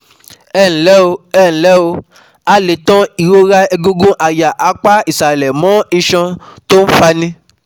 Ẹǹlẹ́ o, Ẹǹlẹ́ o, a lè tan ìrora egungun àyà apá ìsàlẹ̀ mọ́ iṣan tó ń fani